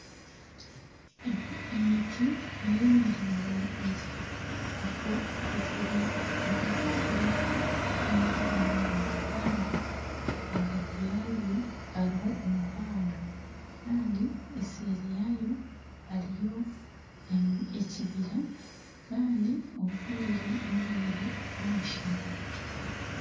Emiti neye miringo mingi hariho ekuzire netakuzire n'emito munonga kandi ahagati yagyo hariho omuhanda kandi eseeri yaayo hariyo ekibira kandi obwire n'obwire bw'omushana.